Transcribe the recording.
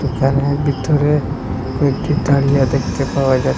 এখানে বিতরে কয়েকটি তারিয়া দেখতে পাওয়া যাচ্ছে।